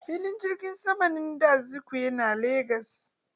Filin jirgin saman nnamdi Azikiwe na Lagos.